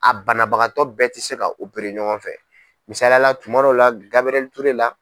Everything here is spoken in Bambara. A banabagatɔ bɛɛ tɛ se ka opere ɲɔgɔn fɛ, misaliyala tuma dɔw la Gabriel Ture la.